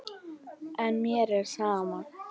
En mér er sama.